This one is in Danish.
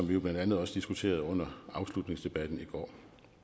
vi jo blandt andet også diskuterede under afslutningsdebatten i går